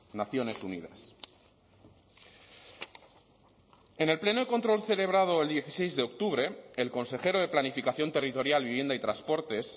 naciones unidas en el pleno de control celebrado el dieciséis de octubre el consejero de planificación territorial vivienda y transportes